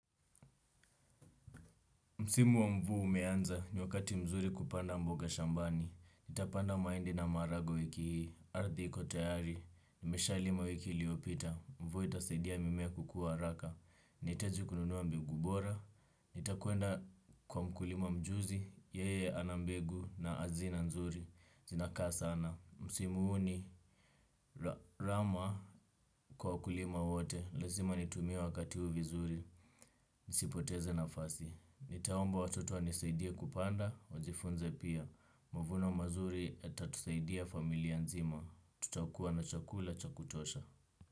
Msimu wa mvua umeanza, ni wakati mzuri kupanda mboga shambani, nitapanda mahindi na maharagwe wiki hii, ardhi iko tayari, nimeshalima wiki iliopita, mvua itasidia mimea kukua haraka, nahitaji kununua mbegu bora, nitakwenda kwa mkulima mjuzi, yeye ana mbegu na hazina nzuri, zinakaa sana. Msimu huu ni, rama kwa wakulima wote. Lazima nitumie wakati huu vizuri. Nisipoteze nafasi. Nitaomba watoto wanisaidie kupanda. Wajifunze pia mavuno mazuri yatatusaidia familia nzima tutakuwa na chakula cha kutosha.